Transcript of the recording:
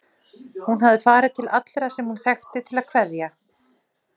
Hún hafði farið til allra sem hún þekkti til að kveðja.